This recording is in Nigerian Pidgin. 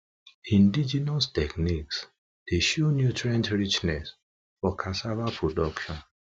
indigenous techniques dey show nutrient richness for cassava production